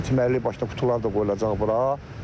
Deməli başqa qutular da qoyulacaq bura.